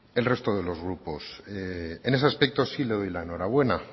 el resto de los grupos en ese aspecto sí le doy la enhorabuena